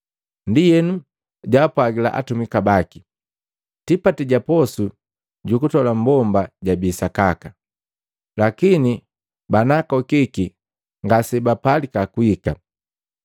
Ndienu jaapwagila atumika baki, ‘Tipati ja posu ju kutola mmbomba jabii sakaka, lakini banaakokiki ngasebapalika kuhika.